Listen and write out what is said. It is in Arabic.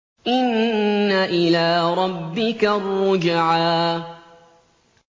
إِنَّ إِلَىٰ رَبِّكَ الرُّجْعَىٰ